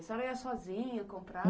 A senhora ia sozinha comprar?